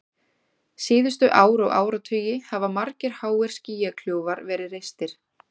Síðustu ár og áratugi hafa margir háir skýjakljúfar verið reistir.